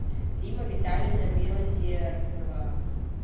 римма витальевна белозерцева